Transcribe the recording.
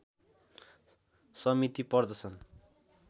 समिति पर्दछन्